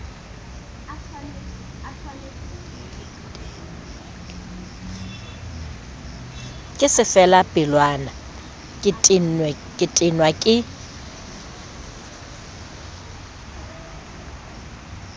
ke sefelapelwana ke tenwa ke